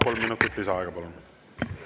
Kolm minutit lisaaega, palun!